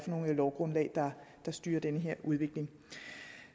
nogle lovgrundlag der styrer den her udvikling